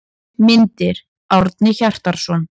Myndir: Árni Hjartarson.